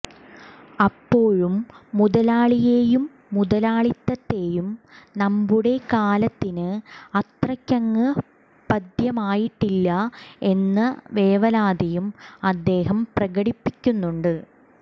അപ്പോഴും മുതലാളിയേയും മുതലാളിത്തത്തേയും നമ്മുടെ കാലത്തിന് അത്രയ്ക്കങ്ങ് പഥ്യമായിട്ടില്ല എന്ന വേവലാതിയും അദ്ദേഹം പ്രകടിപ്പിക്കുന്നുണ്ട്